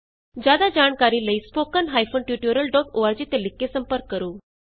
ਜਿਆਦਾ ਜਾਣਕਾਰੀ ਲਈ spoken hyphen tutorial dot org ਤੇ ਲਿਖ ਕੇ ਸੰਪਰਕ ਕਰੋ